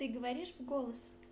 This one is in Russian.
ты говоришь в голос